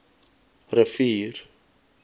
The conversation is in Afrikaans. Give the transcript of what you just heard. rivier